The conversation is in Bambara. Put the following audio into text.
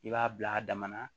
I b'a bila a dama na